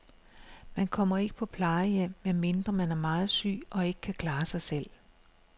Man kommer ikke på plejehjem, medmindre man er meget syg og ikke kan klare sig selv.